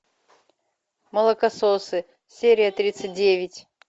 молокососы серия тридцать девять